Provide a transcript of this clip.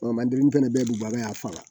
fɛnɛ bɛɛ bi baara kɛ a fa la